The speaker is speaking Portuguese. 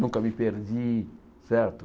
Nunca me perdi, certo?